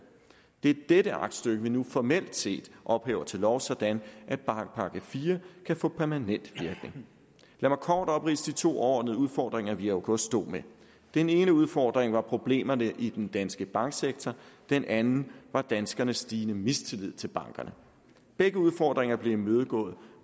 det er dette aktstykke vi nu formelt set ophæver til lov sådan at bankpakke iv kan få permanent virkning lad mig kort opridse de to overordnede udfordringer vi i august stod med den ene udfordring var problemerne i den danske banksektor den anden var danskernes stigende mistillid til bankerne begge udfordringer blev imødegået